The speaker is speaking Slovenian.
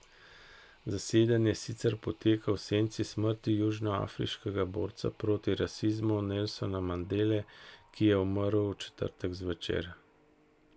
Zasedanje sicer poteka v senci smrti južnoafriškega borca proti rasizmu Nelsona Mandele, ki je umrl v četrtek zvečer.